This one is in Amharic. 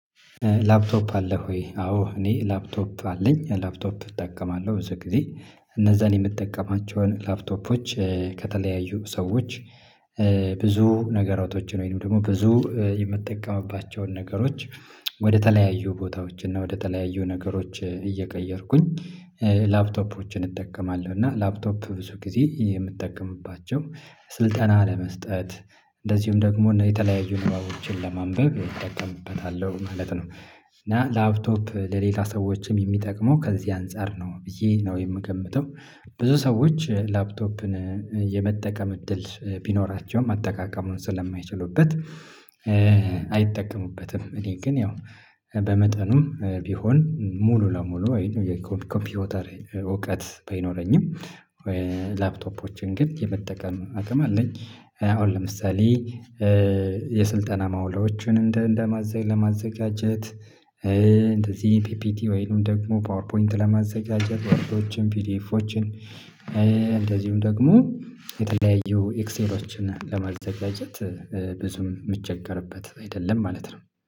ላፕቶፕ አለ ወይ? አዎ እኔ ላፕቶፕ አለኝ። ላፕቶፕ እጠቀማለሁ። ብዙ ጊዜ እነዛን የምጠቀማቸውን ላፕቶፖች ከተለያዩ ሰዎች ብዙ ነገራቶችን ወይንም ደግሞ ብዙ የምጠቀምባቸውን ነገሮች ወደተለያዩ ቦታዎች እና ወደተለያዩ ነገሮች እየቀየርኩኝ ላፕቶፖችን እጠቀማለሁ እና ላፕቶፕ ብዙ ጊዜ የምጠቀምባቸው ስልጠና ለመስጠት እንደዚሁም ደግሞ የተለያዩ ንባቦችን ለማንበብ እቀጥምበታለሁ ማለት ነው። እና ላፕቶፕ ለሌላ ሰዎችም የሚጠቅመው ከዚህ አንፃር ነው ብዬ ነው የምገምተው። ብዙ ሰዎች ላፕቶፕን የመጠቀም እድል ቢኖራቸውም አጠቃቀሙን ስለማይችሉበት አይጠቀሙበትም። እኔ ግን ያው በመጠኑም ቢሆን ሙሉ ለሙሉ ኮምፒውተር እውቀት ባይኖረኝም ላፕቶፖችን ግን የመጠቀም አቅም አለኝ። ለምሳሌ የስልጠና ማውሎቹን እንደ ለማዘጋጀት ፒፒቲ ወይንም ደግሞ ፓወር ፖይንት ለማዘጋጀት ወርዶችን ፒዲኤፎችን ደግሞ የተለያዩ ኤክሴሎችን ለማዘጋጀት ብዙም የሚቸገርበት አይደለም ማለት ነው።